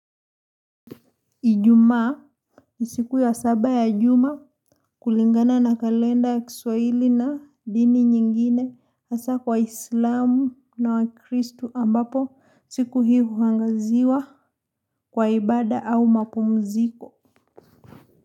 Ijumaa ni siku ya saba ya juma kulingana na kalenda ya kiswahili na dini nyingine hasa kwa islamu na wakristu ambapo siku hii huangaziwa kwa ibada au mapumziko.